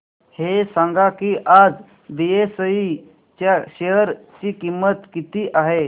हे सांगा की आज बीएसई च्या शेअर ची किंमत किती आहे